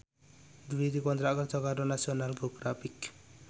Dwi dikontrak kerja karo National Geographic